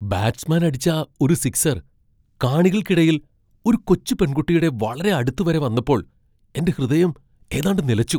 Batsman അടിച്ച ഒരു sixer കാണികൾക്കിടയിൽ ഒരു കൊച്ചു പെൺകുട്ടിയുടെ വളരെ അടുത്ത് വരെ വന്നപ്പോൾ എന്റെ ഹൃദയം ഏതാണ്ട് നിലച്ചു.